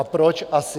A proč asi?